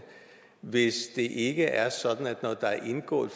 hvis ikke det er sådan at når der er indgået